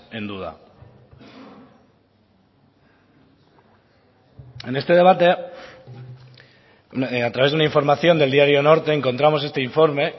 en duda en este debate a través de una información del diario norte encontramos este informe